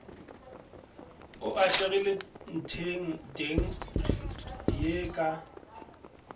o atlegile ntlheng ye ka